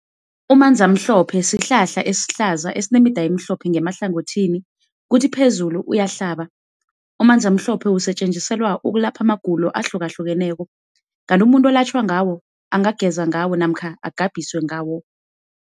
Umanzamhlophe sihlahla esihlaza esinemida emhlophe ngemahlangothini kuthi phezulu uyahlaba. Umanzamhlophe usetjenziselwa ukulapha amagulo ahlukahlukeneko, kanti umuntu olatjhwa ngawo angageza ngawo namkha agabhiswe ngawo.